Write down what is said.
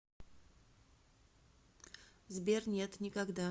сбер нет никогда